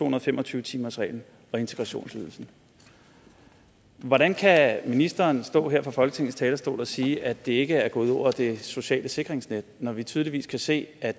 og fem og tyve timersreglen og integrationsydelsen hvordan kan ministeren stå her på folketingets talerstol og sige at det ikke er gået ud over det sociale sikkerhedsnet når vi tydeligvis kan se at